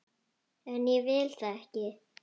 En ég vil það ekki.